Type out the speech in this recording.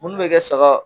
Munnu bɛ kɛ saga